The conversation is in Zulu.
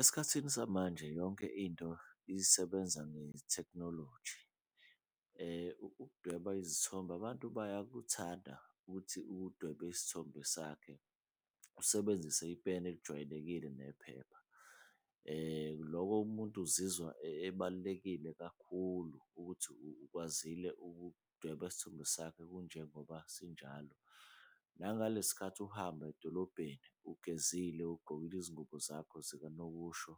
Esikhathini samanje yonke into isebenza ngethekhnoloji ukudweba izithombe, abantu bayakuthanda ukuthi udweba isithombe sakhe, usebenzise ipeni elijwayelekile nephepha. Loko umuntu uzizwa ebalulekile kakhulu ukuthi ukwazile ukudweba isithombe sakhe kunjengoba sinjalo, nangale sikhathi uhamba edolobheni ugezile, ugqokile izingubo zakho zikanokusho